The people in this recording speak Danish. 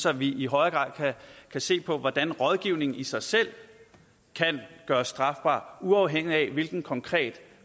at vi i højere grad kan se på hvordan rådgivning i sig selv kan gøres strafbar uafhængigt af hvilken konkret